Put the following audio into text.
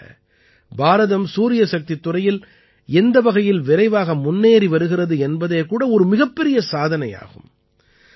குறிப்பாக பாரதம் சூரியசக்தித் துறையில் எந்த வகையில் விரைவாக முன்னேறி வருகிறது என்பதே கூட ஒரு மிகப் பெரிய சாதனையாகும்